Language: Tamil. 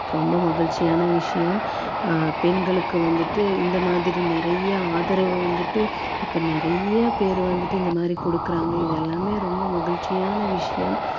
ஆஹ் அஹ் award வந்து இருக்காங்க ரொம்ப மகிழ்ச்சியான விஷயம் ஆஹ் பெண்களுக்கு வந்துட்டு